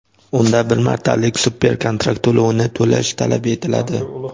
unda bir martalik super-kontrakt to‘lovini to‘lash talab etiladi.